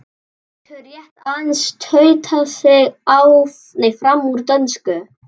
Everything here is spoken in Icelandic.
Getur rétt aðeins stautað sig fram úr dönsku.